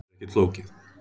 Þetta er ekkert flókið